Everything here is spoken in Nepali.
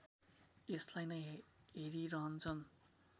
यसलाई नै हेरिरहन्छन्